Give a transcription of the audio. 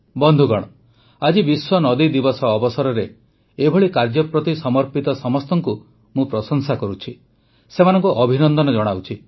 ବନ୍ଧୁଗଣ ଆଜି ବିଶ୍ୱ ନଦୀ ଦିବସ ଅବସରରେ ଏଭଳି କାର୍ଯ୍ୟ ପ୍ରତି ସମର୍ପିତ ସମସ୍ତଙ୍କୁ ମୁଁ ପ୍ରଶଂସା କରୁଛି ସେମାନଙ୍କୁ ଅଭିନନ୍ଦନ ଜଣାଉଛି